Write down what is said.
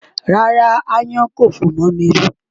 Rárá, aáyán kò fò mọ́ mi rí.